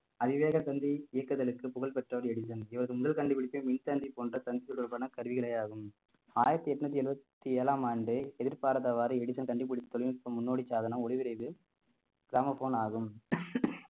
அதிவேக தந்தி இயக்குதலுக்கு புகழ் பெற்றவர் எடிசன் இவரது முதல் கண்டுபிடிப்பு மின்தந்தி போன்ற சந்திப்பு தொடர்பான கருவிகளே ஆகும் ஆயிரத்தி எட்நூத்தி எழுவத்தி ஏழாம் ஆண்டு எதிர்பாராதவாறு எடிசன் கண்டுபிடித்த தொழில்நுட்ப முன்னோடி சாதனம் ஒலிவிரைவு கிராமபோன் ஆகும்